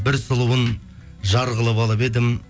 бір сұлуын жар қылып алып едім